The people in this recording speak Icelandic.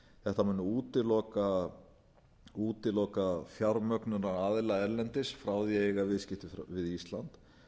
þetta mun útiloka fjármögnunaraðila erlendis frá því að eiga viðskipti við ísland